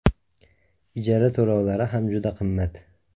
Ijara to‘lovlari ham juda qimmat.